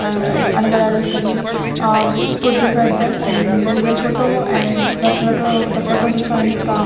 ah another idols can be ah put beside them and there is a photo and the photo the photo defines the --